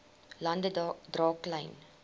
lande dra klein